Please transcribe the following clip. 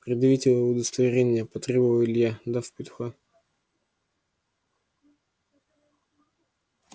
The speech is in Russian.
предъявите удостоверение потребовал илья дав петуха